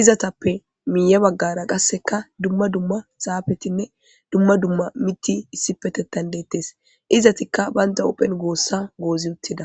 izatappe miiye baggara qasseka dumma dumma saafetinne dumma dumma mitti issi petettan deettes izatikka baynda uphen goossa goozi uttida.